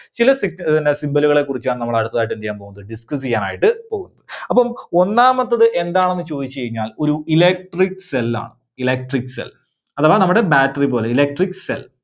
ചില സിഗ്ന ആഹ് പിന്നെ symbol കളെ കുറിച്ചാണ് നമ്മള് അടുത്തതായിട്ട് എന്ത് ചെയ്യാൻ പോകുന്നത്? discuss ചെയ്യാനായിട്ട് പോകുന്നത്. അപ്പം ഒന്നാമത്തത് എന്താണെന്ന് ചോദിച്ചു കഴിഞ്ഞാൽ ഒരു electric cell ആണ്. electric cell അഥവാ നമ്മുടെ battery പോലെ electric cell.